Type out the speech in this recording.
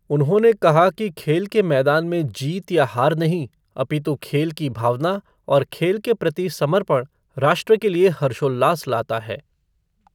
उन्होंने कहा कि खेल के मैदान में जीत या हार नहीं, अपितु खेल की भावना और खेल के प्रति समर्पण राष्ट्र के लिए हर्षोल्लास लाता है।